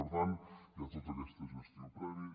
per tant hi ha tota aquesta gestió prèvia